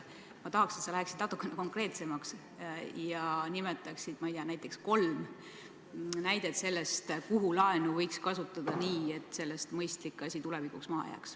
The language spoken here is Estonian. Ma tahaksin, et sa läheksid natuke konkreetsemaks ja nimetaksid näiteks kolm näidet, kus laenu võiks kasutada nii, et sellest mõistlik asi tulevikuks maha jääks.